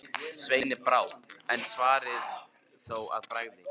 Sveini brá, en svaraði þó að bragði: